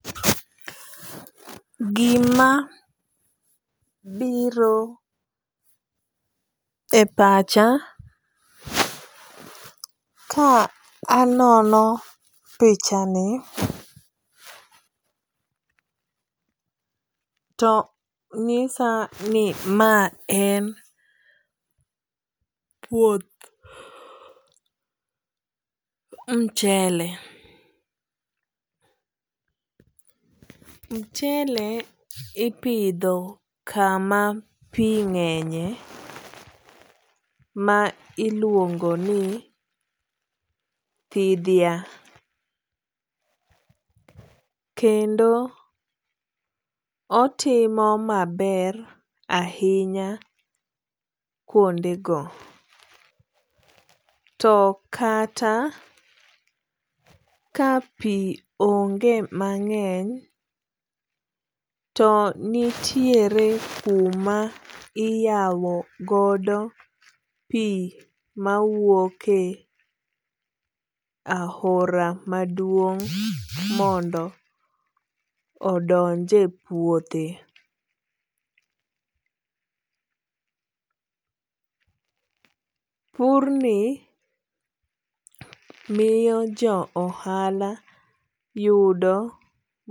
Gima biro e pacha ka anono pichani to ng'isa ni ma en puoth mchele. Mchele ipidho kama pi ng'enye ma iluongo ni thidhia. Kendo otimo maber ahinya kuonde go. To kata ka pi onge mang'eny to nitiere kuma iyawo godo pi mawuoke e ahora maduong' mondo odonje puothe. Pur ni miyo jo ohala yudo.